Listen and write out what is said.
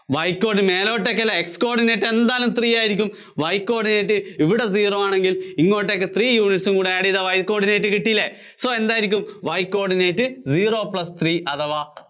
Y coord മേലോട്ടേക്കല്ലേ, X coordinate എന്തായാലും three ആയിരിയ്ക്കും Y coordinate ഇവിടെ zero ആണെങ്കില്‍ ഇങ്ങോട്ടേക്ക് three units ഉം കൂടെ add ചെയ്താല്‍ Y coordinate കിട്ടിയില്ലേ? so എന്തായിരിക്കും Y coordinate zero plus three അഥവാ